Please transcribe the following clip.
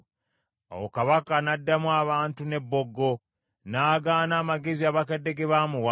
Awo kabaka n’addamu abantu n’ebboggo, n’agaana amagezi abakadde ge baamuwa,